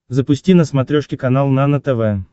запусти на смотрешке канал нано тв